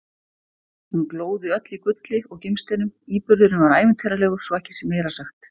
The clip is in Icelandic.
Hún glóði öll í gulli og gimsteinum- íburðurinn var ævintýralegur, svo ekki sé meira sagt!